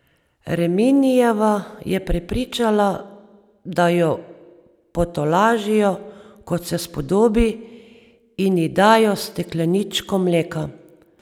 Reminijeva je prepričala, da jo potolažijo, kot se spodobi, in ji dajo stekleničko mleka.